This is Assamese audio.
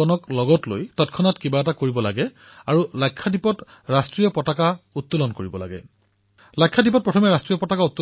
লোকক লগত লৈ লাক্ষাদ্বীপত ত্ৰিৰংগা উৰুৱাবলৈ নিৰ্দেশনা জাৰি কৰিলে